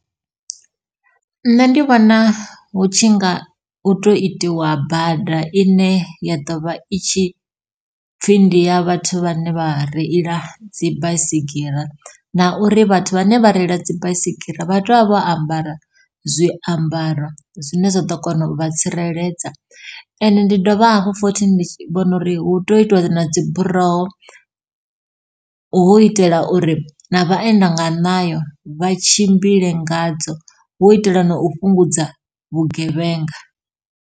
Nṋe ndi vhona hu tshi nga u to itiwa bada ine ya ḓovha i tshi pfhi ndi ya vhathu vhane vha reila dzi baisigira, na uri vhathu vhane vha reila dzi baisigira vha tea u vha vho ambara zwiambaro zwine zwa ḓo kona u vha tsireledza. Ende ndi dovha hafhu futhi ndi vhona uri hu tea u itiwa na dzi buroho hu itela uri ṋa vhaenda nga ṋayo vha tshimbile ngadzo, hu itela na u fhungudza vhugevhenga.